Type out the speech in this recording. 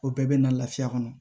O bɛɛ bɛ na lafiya kɔnɔ